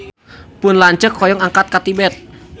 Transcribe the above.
Pun lanceuk hoyong angkat ka Tibet